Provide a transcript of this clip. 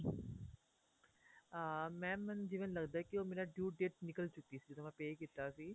ਅਹ mam ਮੈਂਨੂੰ ਜਿਵੇਂ ਲੱਗਦਾ ਕੀ ਉਹ ਮੇਰਾ due date ਨਿਕਲ ਚੁੱਕੀ ਸੀ ਜਦੋਂ ਮੈਂ pay ਕੀਤਾ ਸੀ